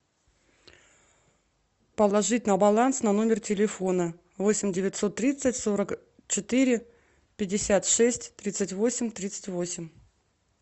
положить на баланс на номер телефона восемь девятьсот тридцать сорок четыре пятьдесят шесть тридцать восемь тридцать восемь